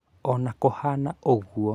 Ona kũhana ũguo